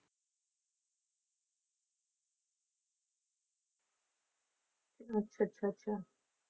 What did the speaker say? ਅੱਛਾ ਅੱਛਾ ਅੱਛਾ